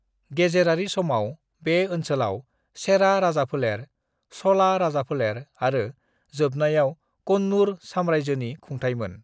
"गेजेरारि समाव, बे ओनसोलाव चेरा राजाफोलेर, चला राजाफोलेर आरो जोबनायाव कन्नूर साम्रायजोनि खुंथाइमोन।"